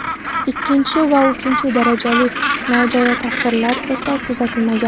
Ikkinchi va uchinchi darajali nojo‘ya ta’sirlar esa kuzatilmagan.